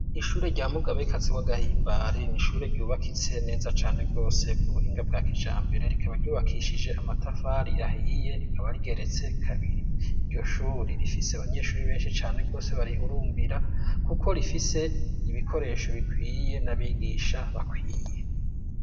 Ishure rya mugabekazi w'agahimbare ni ishure ryubakitse neza cane rwose ku buhinga bwa kija mbere. Rikaba ryubakishije amatafari ahiye, rikaba rigeretse kabiri. Iryo shuri rifise abanyeshuri benshi cane rwose barihurumbira, kuko rifise ibikoresho bikwiye n'abigisha bakwiye.